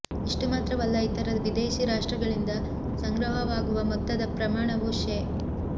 ಇಷ್ಟು ಮಾತ್ರವಲ್ಲ ಇತರ ವಿದೇಶಿ ರಾಷ್ಟ್ರಗಳಿಂದ ಸಂಗ್ರಹವಾಗುವ ಮೊತ್ತದ ಪ್ರಮಾಣವೂ ಶೇ